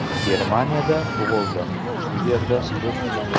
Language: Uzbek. Germaniyada tug‘ildim, shu yerda o‘sdim.